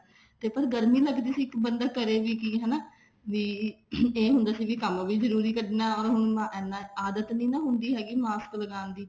ਤੇ ਗਰਮੀ ਲੱਗਦੀ ਸੀ ਤੇ ਬੰਦਾ ਕਰੇ ਵੀ ਕੀ ਹਨਾ ਵੀ ਇਹ ਹੁੰਦਾ ਸੀ ਵੀ ਕੰਮ ਵੀ ਜਰੂਰੀ ਕਰਨਾ ਹੁਣ ਇੰਨਾ ਆਦਤ ਨੀ ਨਾ ਹੁੰਦੀ ਮਾਸਕ ਲਗਾਉਣ ਦੀ